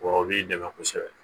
Wɔ b'i dɛmɛ kosɛbɛ